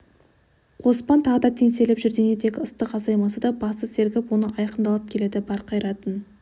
қоспан тағы да теңселіп жүр денедегі ыстық азаймаса да басы сергіп ойы айқындалып келеді бар қайратын